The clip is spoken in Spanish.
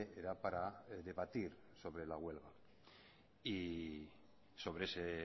era para debatir sobre la huelga y sobre ese